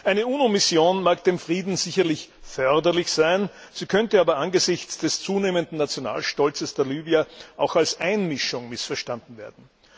Eine UNO Mission mag dem Frieden sicherlich förderlich sein, könnte aber angesichts des zunehmenden Nationalstolzes der Libyer auch als Einmischung missverstanden werden.